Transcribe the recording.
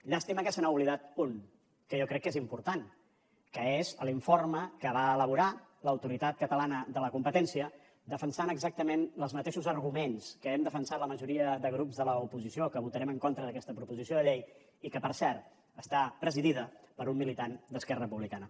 llàstima que se n’ha oblidat un que jo crec que és important que és l’informe que va elaborar l’autoritat catalana de la competència defensant exactament els mateixos arguments que hem defensat la majoria de grups de l’oposició que votarem en contra d’aquesta proposició de llei i que per cert està presidida per un militant d’esquerra republicana